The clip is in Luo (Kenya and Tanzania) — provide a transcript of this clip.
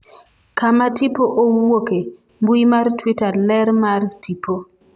kama tipo owuoke, mbui mar twitter ler mar tipo,